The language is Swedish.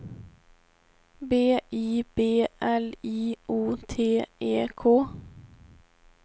B I B L I O T E K